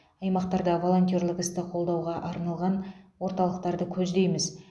аймақтарда волонтерлік істі қолдауға арналған орталықтарды көздейміз